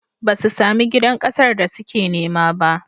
Ba su sami gidan ƙasar da suke nema ba.